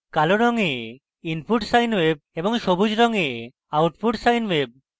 কালো রঙে input sine wave এবং সবুজ রঙে output sine wave